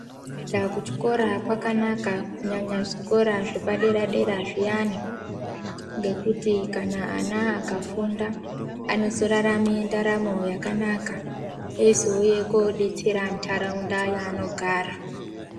Kuinda kuchikoro kwakanaka kunyanya zvikora zvepadera-dera zviyani. Ngekuti kana ana akafunda anozorarame ndaramo yakanaka. Eizouye koodetsera ntaraunda yaanogara.